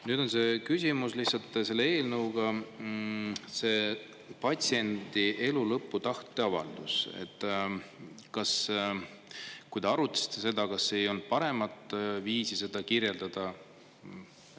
Nüüd on see küsimus lihtsalt selle eelnõuga, see patsiendi elu lõpu tahteavaldus, et kui te arutasite seda, kas ei olnud paremat viisi seda kirjeldada.